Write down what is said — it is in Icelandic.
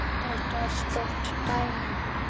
Rosa sagði nei.